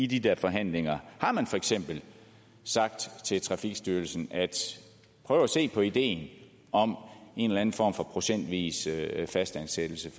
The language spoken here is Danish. de der forhandlinger har man for eksempel sagt til trafikstyrelsen prøv at se på ideen om en eller anden form for procentvis fastansættelse